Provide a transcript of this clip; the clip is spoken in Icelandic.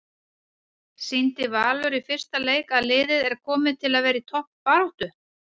Sýndi Valur í fyrsta leik að liðið er komið til að vera í toppbaráttu?